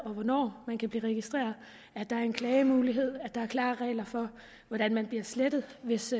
og hvornår man kan blive registreret og at der er en klagemulighed og nogle klare regler for hvordan man bliver slettet hvis